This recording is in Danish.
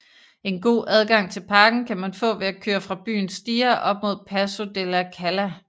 En god adgang til parken kan man få ved at køre fra byen Stia op mod Passo della Calla